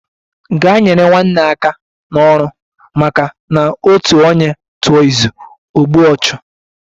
Gaa nyere nwanne aka n'ọrụ! maka na otu onye tụọ izu, o gbue ọchụ